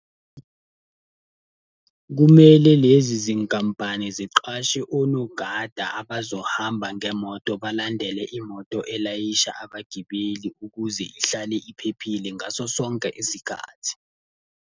Kumele lezi zinkampani siqashe onogada abazohamba ngemoto balandele imoto elayisha abagibeli ukuze ihlale iphephile ngaso sonke isikhathi.